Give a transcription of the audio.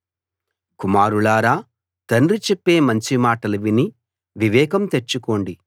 కుమారులారా తండ్రి చెప్పే మంచి మాటలు విని వివేకం తెచ్చుకోండి